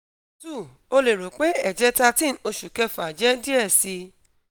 2] o le ro pe ẹjẹ 13 oṣu kẹfa jẹ diẹ sii